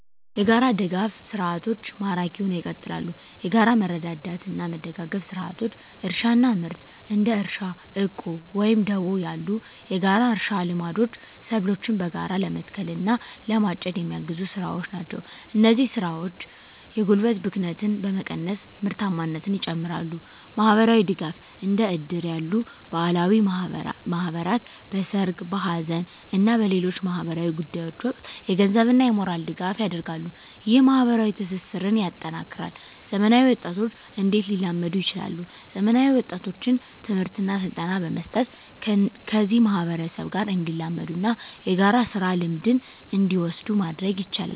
**የጋራ ድጋፍ ሰርዓቶች ማራኪ ሁነው ይቀጥላሉ፤ የጋራ መረዳዳትና መደጋገፍ ስርዓቶች: * እርሻና ምርት: እንደ እርሻ ዕቁብ ወይም ደቦ ያሉ የጋራ እርሻ ልምዶች ሰብሎችን በጋራ ለመትከል እና ለማጨድ የሚያግዙ ስራዎች ናቸው። እነዚህ ስራዎች የጉልበት ብክነትን በመቀነስ ምርታማነትን ይጨምራሉ። * ማህበራዊ ድጋፍ: እንደ እድር ያሉ ባህላዊ ማህበራት በሠርግ፣ በሐዘን እና በሌሎች ማኅበራዊ ጉዳዮች ወቅት የገንዘብና የሞራል ድጋፍ ያደርጋሉ። ይህ ማኅበራዊ ትስስርን ያጠናክራል። *ዘመናዊ ወጣቶች እንዴት ሊላመዱ ይችላሉ፤ ዘመናዊ ወጣቶችን ትምህርትና ስልጠና በመስጠት ከዚህ ማህበረሰብ ጋር እንዲላመዱና የጋራ ስራ ልምድን እንዲወስዱ ማድረግ ይቻላል።